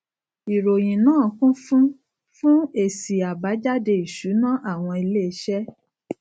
ìròyìn náà kún fún fún èsì àbájáde ìsúná àwọn ilé iṣé